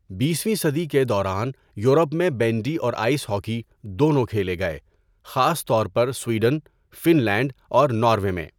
بیس ویں صدی کے دوران یورپ میں بینڈی اور آئس ہاکی دونوں کھیلے گئے، خاص طور پر سویڈن، فن لینڈ اور ناروے میں۔